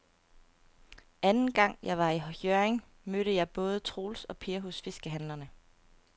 Anden gang jeg var i Hjørring, mødte jeg både Troels og Per hos fiskehandlerne.